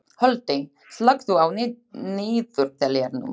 Holti, slökktu á niðurteljaranum.